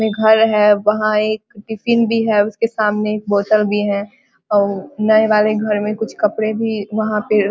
घर है वहा एक टिफ़िन भी है। उसके सामने एक बोतल भी है और नए वाले घर में कुछ कपडे भी वहां पे --